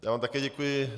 Já vám také děkuji.